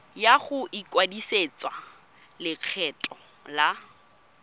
ya go ikwadisetsa lekgetho la